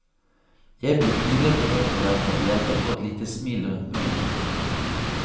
Jeg blir pinlig berørt av dette og jenta får et lite smil rundt munnen.